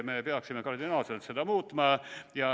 Me peaksime seda kardinaalselt muutma.